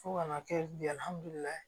Fo kana kɛ